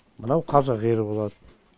мынау қазақ ері болады